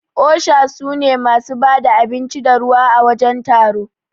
osha sune masu bada abinci da ruwa à wajen taro.